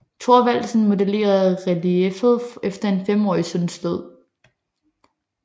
Thorvaldsen modellerede relieffet efter en femårig søns død